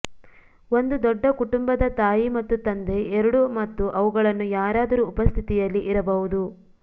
ಒಂದು ದೊಡ್ಡ ಕುಟುಂಬದ ತಾಯಿ ಮತ್ತು ತಂದೆ ಎರಡೂ ಮತ್ತು ಅವುಗಳನ್ನು ಯಾರಾದರೂ ಉಪಸ್ಥಿತಿಯಲ್ಲಿ ಇರಬಹುದು